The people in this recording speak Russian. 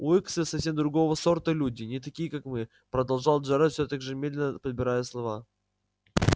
уилксы совсем другого сорта люди не такие как мы продолжал джералд всё так же медленно подбирая слова